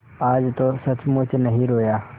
आज तो सचमुच नहीं रोया